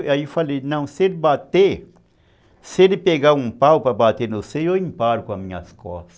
Aí eu falei, não, se ele bater, se ele pegar um pau para bater no seu, eu imparo com as minhas costas.